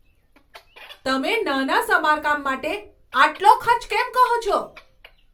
તમે નાના સમારકામ માટે આટલો ખર્ચ કેમ કહો છો?